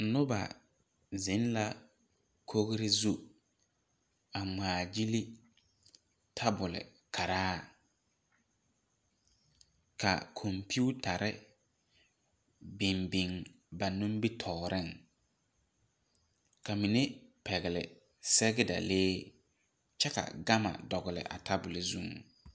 Noba zeŋ la kogri zu a ŋmaa gyili tebul maras ka kompetare biŋ biŋ ba nimitɔɔreŋ ka mine pɛgle sɛgedalee kyɛ ka gama dogli a tebul zu.